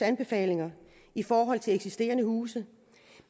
anbefalinger i forhold til eksisterende huse